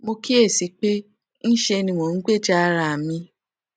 mo kíyè sí i pé ńṣe ni mò ń gbèjà ara mi